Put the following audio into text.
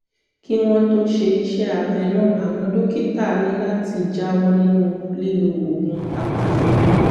kí wọ́n tó ṣe iṣẹ́ abẹ náà àwọn dókítà ní láti jáwọ́ nínú lílo oògùn apàrora